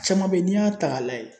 Caman bɛ yen n'i y'a ta k'a lajɛ